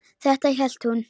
Þetta hélt hún.